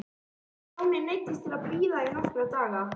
Stjáni neyddist því til að bíða í nokkra daga.